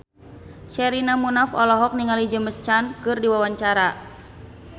Sherina Munaf olohok ningali James Caan keur diwawancara